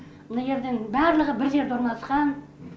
мына жерден барлығы бір жерде орналасқан